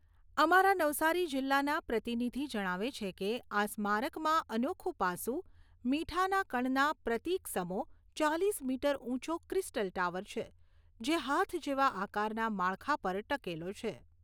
અમારા નવસારી જિલ્લાના પ્રતિનિધિ જણાવે છે કે, આ સ્મારકમાં અનોખુ પાસું મીઠાના કણના પ્રતિકસમો ચાલીસ મીટર ઊંચો ક્રિસ્ટલ ટાવર છે, જે હાથ જેવા આકારના માળખા પર ટકેલો છે.